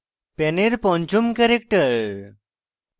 pan এর পঞ্চম character: